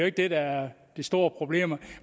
ikke det der er det store problem